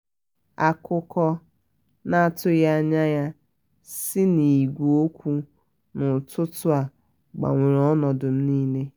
akụkọ na atughi anya ya si n'ìgwè okwu na utụtụ a gbanwere ọnọdụ m n'ile